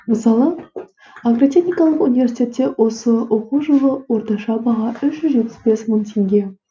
мысалы агротехникалық университетте осы оқу жылы орташа баға үш жүз жетпіс бес мың теңге